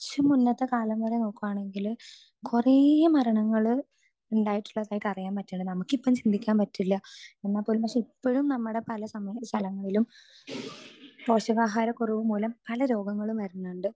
speaker 2 അല്ലാണ്ട് കുറച്ചു മുന്നത്തെ കാലം വരെ നോക്കുവാണെങ്കില് കുറെ മരണങ്ങള് ഉണ്ടായിട്ടുള്ളതായി അറിയാൻ പറ്റിണത് നമുക്ക് ഇപ്പൊ ചിന്തിക്കാൻ പറ്റില്ല എന്നാൽ പോലും പക്ഷെ ഇപ്പോഴും നമ്മടെ പല സ്ഥലങ്ങളിലും പോഷകാഹാര കുറവുമൂലം പല രോഗങ്ങളും വരുന്നുണ്ട്